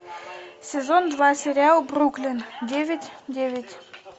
сезон два сериал бруклин девять девять